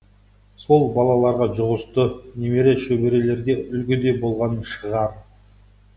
сол балаларға жұғысты немере шөберелерге үлгі де болған шығар